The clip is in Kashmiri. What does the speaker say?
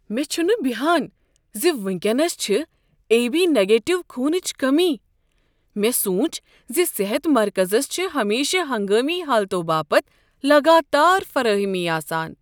مے٘ چھُنہٕ بیہان ز وٕنکینس چھےٚ اے بی پازٹو خونٕچ کٔمی۔ مےٚ سوٗنچ ز صحت مرکزس چھےٚ ہمیشہٕ ہنگٲمی حالتو باپت لگاتار فراہمی آسان۔